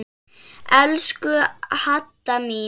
Elsku Hadda mín.